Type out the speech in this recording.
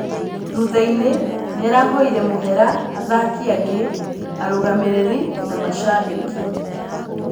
Thuthainĩ nĩarahoire mũhera athaki angĩ, arũgamĩrĩri na mashambĩki.